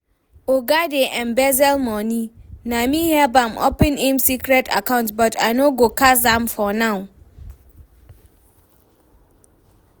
Oga dey embezzle money, na me help am open im secret account but I no go cast am for now